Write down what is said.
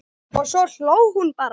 Og svo hló hún bara.